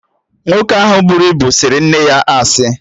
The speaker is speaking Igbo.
Nwoke ahụ buru ibu sịrị nne ya asị